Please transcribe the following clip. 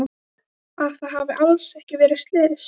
Að það hafi alls ekki verið slys.